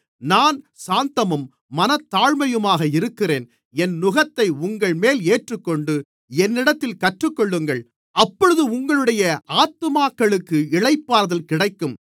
நான் சாந்தமும் மனத்தாழ்மையுமாக இருக்கிறேன் என் நுகத்தை உங்கள்மேல் ஏற்றுக்கொண்டு என்னிடத்தில் கற்றுக்கொள்ளுங்கள் அப்பொழுது உங்களுடைய ஆத்துமாக்களுக்கு இளைப்பாறுதல் கிடைக்கும்